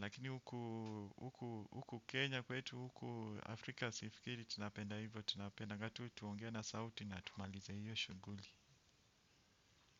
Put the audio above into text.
Lakini huku Kenya kwetu huku Afrika Sifikiri tunapenda hivyo. Tunapendaga tu tuongee na sauti na tumalize hiyo shughuli.